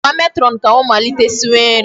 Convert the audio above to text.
Gwa matron ka ọ malite siwe nri.